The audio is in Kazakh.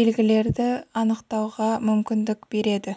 белгілерді анықтауға мүмкіндік береді